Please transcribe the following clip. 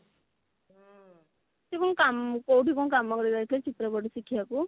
ତୁ କଣ କାମକୁ କୋଉଠି କଣ କାମ କରିବାକୁ ଯାଉଥିଲୁ ଚିତ୍ର କୋଉଠି ଶିଖିବାକୁ